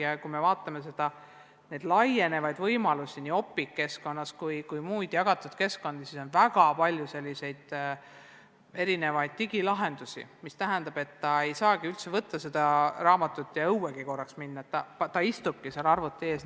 Ja kui vaatame neid aina laienevaid võimalusi – nii Opiqu keskkonnas kui ka muudes jagatud keskkondades –, siis näeme, et on väga palju erisuguseid digilahendusi, mis tähendab, et õpilane ei saagi üldse raamatut kätte võtta ja korraks õue minna, vaid ta istubki arvuti ees.